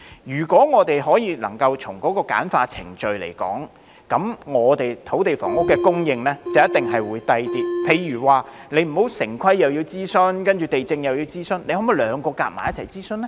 如果我們能夠簡化程序，我們的土地房屋供應成本一定會較低，例如不用諮詢完城市規劃委員會，接着又要諮詢地政總署，可否兩者合併諮詢呢？